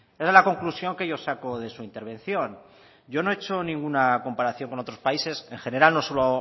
esa es la conclusión que yo saco de su intervención yo no he hecho ninguna comparación con otros países en general